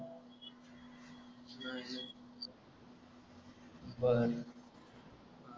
बर